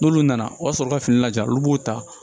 N'olu nana o y'a sɔrɔ ka fini ja olu b'o ta